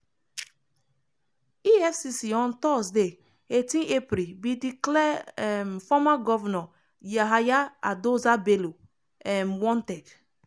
efcc on thursday i8 april bin declare um former governor yahaya adoza bello um wanted.